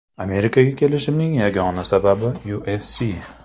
Amerikaga kelishimning yagona sababi UFC.